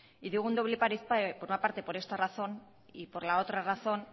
y digo un doble paripé por una parte por esta razón y por la otra razón